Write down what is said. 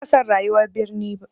Bana cika son rayuwar birni.